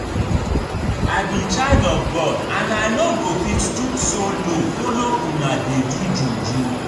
I be child of God and I no go fit stoop so low follow una dey do juju